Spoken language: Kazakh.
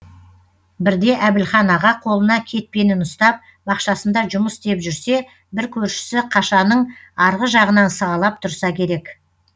бірде әбілхан аға қолына кетпенін ұстап бақшасында жұмыс істеп жүрсе бір көршісі қашаның арғы жағынан сығалап тұрса керек